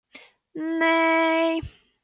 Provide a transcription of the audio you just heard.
nei